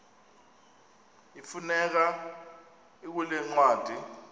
ifumaneka kule ncwadi